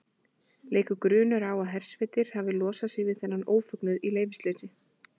Leikur grunur á að hersveitir hafi losað sig við þennan ófögnuð í leyfisleysi.